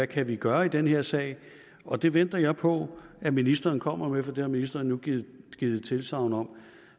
kan vi gøre i den her sag og det venter jeg på at ministeren kommer med for det har ministeren nu givet givet tilsagn om